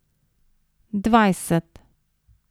Dvajset.